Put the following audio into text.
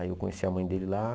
Aí eu conheci a mãe dele lá.